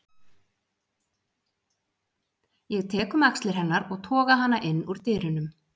Ég tek um axlir hennar og toga hana inn úr dyrunum.